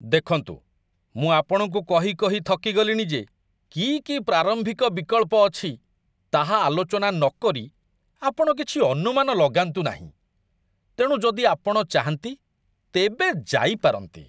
ଦେଖନ୍ତୁ, ମୁଁ ଆପଣଙ୍କୁ କହି କହି ଥକି ଗଲିଣି ଯେ କି କି ପ୍ରାରମ୍ଭିକ ବିକଳ୍ପ ଅଛି ତାହା ଆଲୋଚନା ନକରି ଆପଣ କିଛି ଅନୁମାନ ଲଗାନ୍ତୁ ନାହିଁ, ତେଣୁ ଯଦି ଆପଣ ଚାହାନ୍ତି, ତେବେ ଯାଇପାରନ୍ତି।